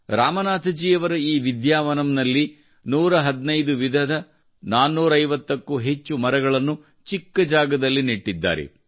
ರಾಮನಾಥಜಿಯವರ ಈ ವಿದ್ಯಾವನಂನಲ್ಲಿ 115 ವಿಧದ 450ಕ್ಕೂ ಹೆಚ್ಚು ಮರಗಳನ್ನು ಚಿಕ್ಕ ಜಾಗದಲ್ಲಿ ನೆಟ್ಟಿದ್ದಾರೆ